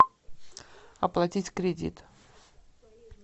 оплатить кредит